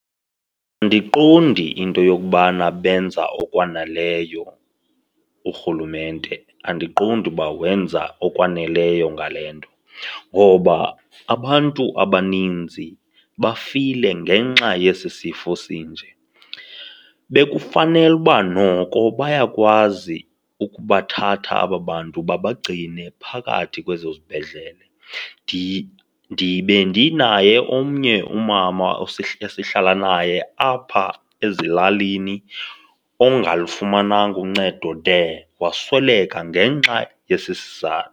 Andiqondi into yokubana benza okwaneleyo urhulumente. Andiqondi uba wenza okwaneleyo ngale nto ngoba abantu abaninzi bafile ngenxa yesi sifo sinje. Bekufanele uba noko bayakwazi ukubathatha aba bantu babagcine phakathi kwezo zibhedlele. Bendinaye omnye umama esihlala naye apha ezilalini ongalufumananga uncedo de wasweleka ngenxa yesi